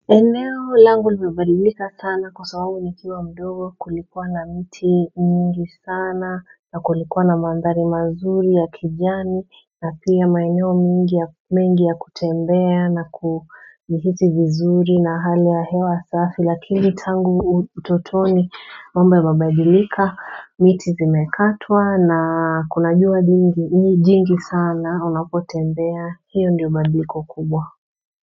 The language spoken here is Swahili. Eneo langu limebadilika sana kwa sababu nikiwa mdogo kulikuwa na miti mingi sana na kulikuwa na mandhari mazuri ya kijani na pia maeneo mengi ya kutembea na kuhisi vizuri na hali ya hewa safi Lakini tangu utotoni mambo yamebadilika miti zimekatwa na kuna jua jingi sana unapotembea hiyo ndiyo badiliko kubwa.